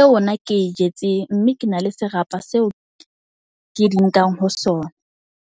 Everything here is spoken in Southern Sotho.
e ona ke e jetseng. Mme ke na le serapa seo ke di nkang ho sona.